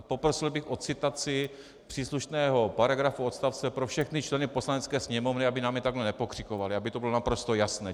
A poprosil bych o citaci příslušného paragrafu, odstavce pro všechny členy Poslanecké sněmovny, aby na mě takhle nepokřikovali, aby to bylo naprosto jasné.